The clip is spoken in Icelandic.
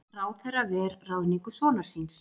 Ráðherra ver ráðningu sonar síns